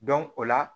o la